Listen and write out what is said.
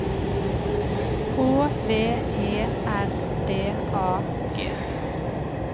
H V E R D A G